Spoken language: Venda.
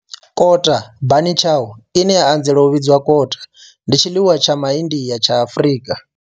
Kota bunny chow, ine ya anzela u vhidzwa kota, ndi tshiḽiwa tsha Ma India tsha Afrika.